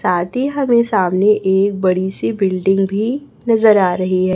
साथ ही हमें सामने एक बड़ी सी बिल्डिंग भी नजर आ रही है।